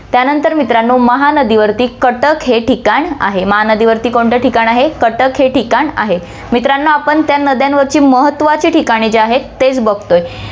त्यानंतर मित्रांनो, महानदीवरती कटक हे ठिकाण आहे, महानदीवरती कोणतं ठिकाण आहे, कटक हे ठिकाण आहे. मित्रांनो, आपण त्या नद्यांवरची महत्वाची ठिकाणे जे आहेत तेच बघतोय.